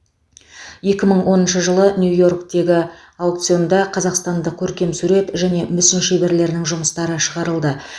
екі мың оныншы жылы нью йорктегі аукционына қазақстандық көркемсурет және мүсін шеберлерінің жұмыстары шығарылды